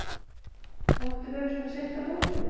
Máttu vera svona seint á fótum?